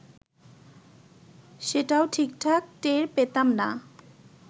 সেটাও ঠিকঠাক টের পেতাম না